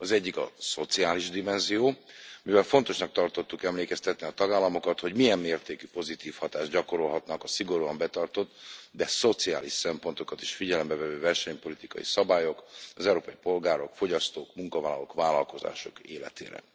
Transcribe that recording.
Az egyik a szociális dimenzió, mivel fontosnak tartottuk emlékeztetni a tagállamokat, hogy milyen mértékű pozitív hatást gyakorolhatnak a szigorúan betartott, de szociális szempontokat is figyelembe vevő versenypolitikai szabályok az európai polgárok, fogyasztók, munkavállalók, vállalkozások életére.